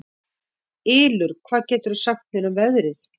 Ylur, hvað geturðu sagt mér um veðrið?